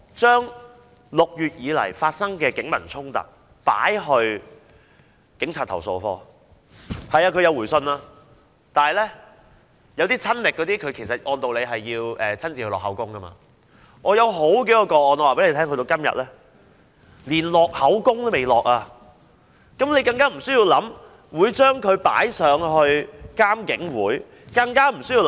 就6月以來曾經發生的警民衝突，我們已向投訴警察課投訴，投訴課是有回信的，但一些我們親歷的個案是需要親身錄口供的，而有多宗個案至今連錄口供的程序也未進行，遑論提交監警會處理。